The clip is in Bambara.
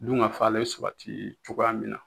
Dunkafa ale bɛ sabati cogoya min na.